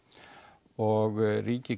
og ríkið